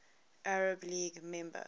arab league member